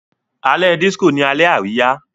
Alẹ́ disco ní Alẹ́ Àríyá.